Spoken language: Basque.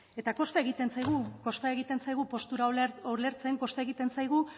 eta kosta egiten zaigu postura ulertzen kosta egiten zaigu